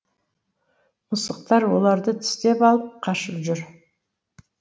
мысықтар оларды тістеп алып қашып жүр